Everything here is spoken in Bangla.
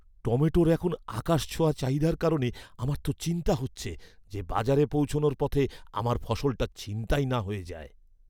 টমেটোর এখন আকাশছোঁয়া চাহিদার কারণে আমার তো চিন্তা হচ্ছে যে বাজারে পৌঁছনোর পথে আমার ফসলটা ছিনতাই না হয়ে যায়।